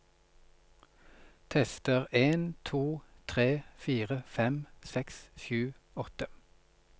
Tester en to tre fire fem seks sju åtte